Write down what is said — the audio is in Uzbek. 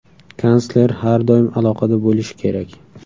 Kansler har doim aloqada bo‘lishi kerak.